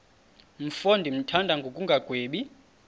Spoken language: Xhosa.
mfo ndimthanda ngokungagwebi